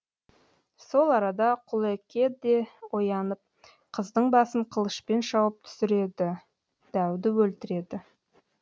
сол арада құлеке де оянып қыздың басын қылышпен шауып түсіреді дәуді өлтіреді